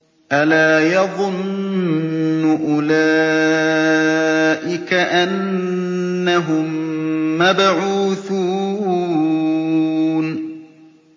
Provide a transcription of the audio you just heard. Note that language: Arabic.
أَلَا يَظُنُّ أُولَٰئِكَ أَنَّهُم مَّبْعُوثُونَ